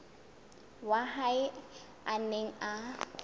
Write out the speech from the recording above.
wa hae a neng a